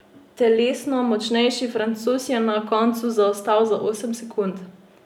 Telesno močnejši Francoz je na koncu zaostal za osem sekund.